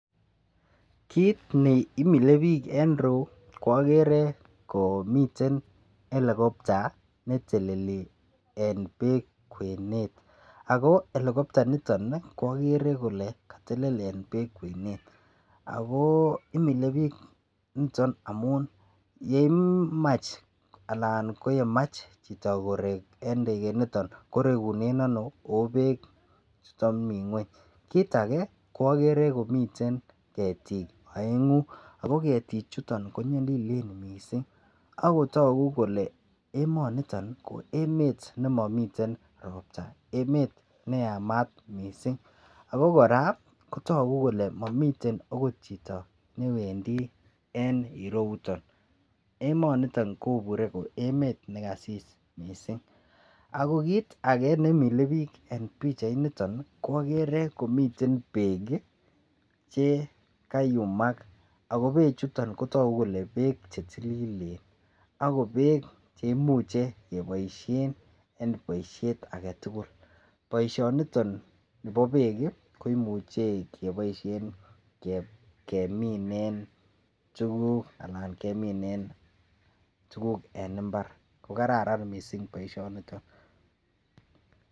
Kiit neimile biik en rieu ko agen komiten helicopter neteleli eng peek kwenet ako helicopter nito ko agere ale katelel eng peek kwenet ako imilepich niton amu yemach aln yamach chito korek ndeget niton ko rekune ano ako peek chuto mii ngweny, kiit age ko agere komiten ketik aengu ako ketik chuto ko nyalilen mising akotogu kole emanito ko emet nemiten ropta emet neyamat mising ako kora kotogu kole mamiten akot chito agot newendi en ireu yuton emoniton kobure koi emet nekasis mising, ako kiit age imilepich en pichait niton ko agere komiten peek che kaiumak ako peechuton kotogu kole peek chetililen ako peek cheimuchen keboishen en boishet agetugul poishoniton nebo peek koimuche kepoishe keminen tuguk anan keminen tuguk en imbar kararan mising boisionitot.